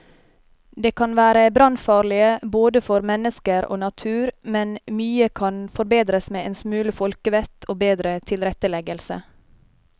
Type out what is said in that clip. De kan være brannfarlige både for mennesker og natur, men mye kan forbedres med en smule folkevett og bedre tilretteleggelse.